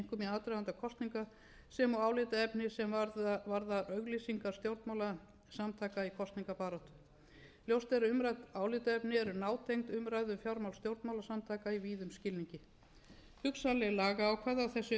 að fjölmiðlum einkum aðdraganda kosninga sem og álitaefni sem varða auglýsingar stjórnmálasamtaka í kosningabaráttu ljóst er að umrædd álitaefni eru nátengd umræðu um fjármál stjórnmálasamtaka í víðum skilningi hugsanleg lagaákvæði á þessu sviði eiga þó fremur heima